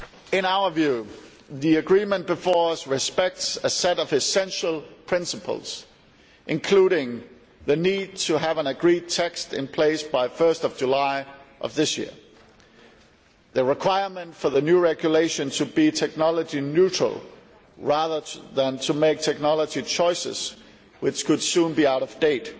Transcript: In our view, the agreement before us respects a set of essential principles, including the need to have an agreed text in place by 1 July of this year the requirement for the new regulation to be technology neutral rather than to make technology choices which could soon be out of date